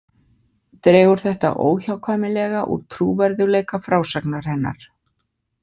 Dregur þetta óhjákvæmilega úr trúverðugleika frásagnar hennar.